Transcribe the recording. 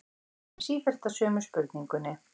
Ég kem sífellt að sömu spurningunni.